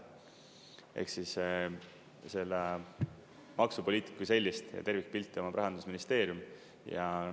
Ehk siis maksupoliitika kui sellise tervikpilti omab Rahandusministeerium.